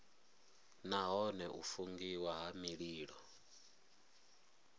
nahone u fungiwa ha mililo